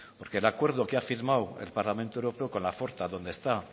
porque el acuerdo que ha firmado el parlamento europeo con la forta donde está